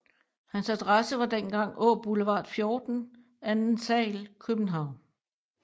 Hans adresse var dengang Aaboulevard 14 ² Kbh